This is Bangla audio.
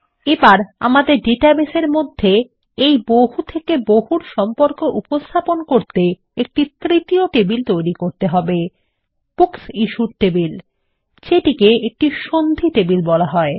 এবার আমাদের ডাটাবেসের মধ্যে এই বহু থেকে বহুর সম্পর্ক উপস্থাপন করতে একটি তৃতীয় টেবিল তৈরি করতে হবে বুকসিশ্যুড টেবিল যেটিকে একটি সন্ধি টেবিল বলা হয়